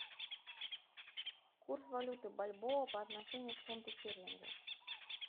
курс валюты бальбоа по отношению к фунту стерлингу